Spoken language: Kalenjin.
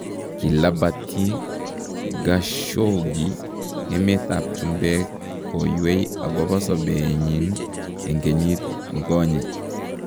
Kilabatyi Khashoggi emetab chumbek koywei akobo sobeenyin en kenyit nikonye.